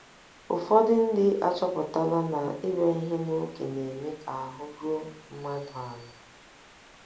Ụfọdụ ndị achọpụtala na ịbịa ihe n’oge na - eme ka ahụ́ ruo mmadụ ala.